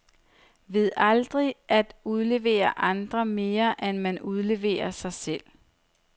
Ved aldrig at udlevere andre, mere end man udleverer sig selv.